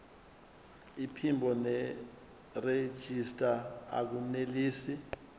iphimbo nerejista akunelisi